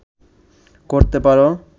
করতে পারো